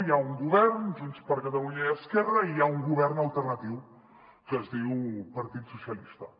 hi ha un govern junts per catalunya i esquerra i hi ha un govern alternatiu que es diu partit socialistes